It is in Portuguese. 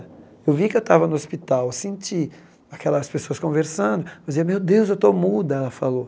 Eu vi que eu estava no hospital, eu senti aquelas pessoas conversando, eu dizia, meu Deus, eu estou muda, ela falou.